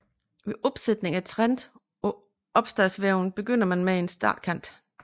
Ved opsætning af trend på opstadsvæven begynder man med en startkant